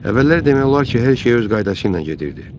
Əvvəllər demək olar ki, hər şey öz qaydası ilə gedirdi.